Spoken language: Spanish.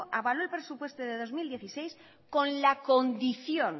avaló el presupuesto del dos mil dieciséis con la condición